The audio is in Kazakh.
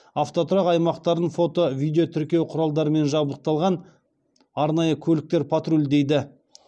автотұрақ аймақтарын фото видео тіркеу құралдарымен жабдықталған арнайы көліктер патрульдейді